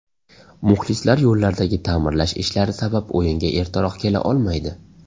Muxlislar yo‘llardagi ta’mirlash ishlari sabab o‘yinga ertaroq kela olmaydi.